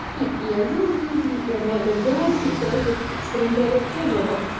я её жизни и омой олимпиаде короче олимпиада вообще